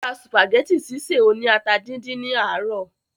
ó ra sùpàgẹ́tì sísè oní ata díndín ní àárọ̀